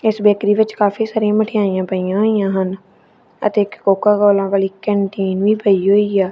ਇਸ ਬੇਕਰੀ ਵਿੱਚ ਕਾਫੀ ਸਾਰੀਆਂ ਮਠਿਆਈਆਂ ਪਈਆਂ ਹੋਈਆਂ ਹਨ ਅਤੇ ਇੱਕ ਕੋਕਾ ਕੋਲਾਂ ਵਾਲੀ ਕੈਂਟੀਨ ਵੀ ਪਈ ਹੋਈ ਆ--